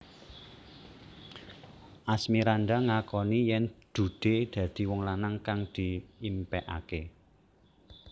Asmirandah ngakoni yèn Dude dadi wong lanang kang diimpékaké